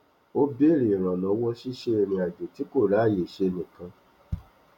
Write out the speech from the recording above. ó béèrè ìrànlówó ṣíṣe irinàjò tí kò ráyè ṣe nìkan